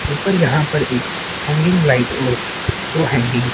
ऊपर यहाँ पर एक हैंगिंग लाइट और दो हैंगिंग --